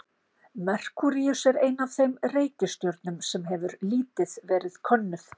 Merkúríus er ein af þeim reikistjörnum sem hefur lítið verið könnuð.